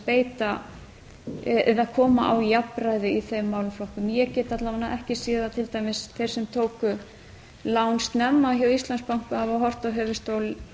beita eða koma á jafnræði í þeim málaflokkum ég get alla vega ekki séð að til dæmis þeir sem tóku lán snemma hjá íslandsbanka hafa horft á höfuðstól